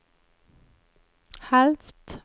halvt